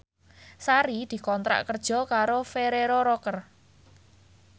Sari dikontrak kerja karo Ferrero Rocher